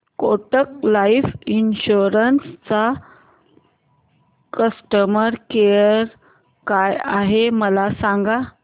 Kotak life insurance चा customer care काय आहे मला सांगा